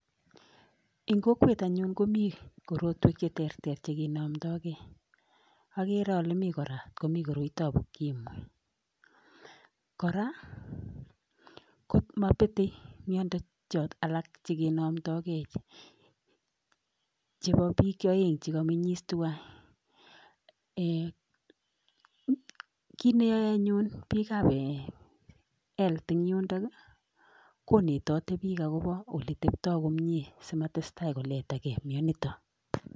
Eng kokwet anyun koni korotwek che ter ter chekenamtagei. Agere ale mi kora komi koroitab ukimwi. Kora komabetei miado chekinamtaigei chebo bich oeng chekamenyis tuwai. kit neyaei anyun bik ab health eng yundok, konetatei bik akoba ole tebtai komie simatestai koleta gei mianitok.